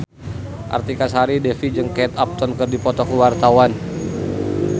Artika Sari Devi jeung Kate Upton keur dipoto ku wartawan